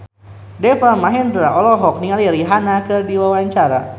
Deva Mahendra olohok ningali Rihanna keur diwawancara